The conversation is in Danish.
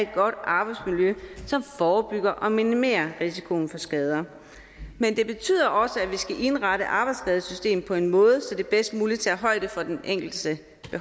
arbejdsmiljø som forebygger og minimerer risikoen for skader men det betyder også at vi skal indrette arbejdsskadesystemet på en måde så det bedst muligt tager højde for den enkeltes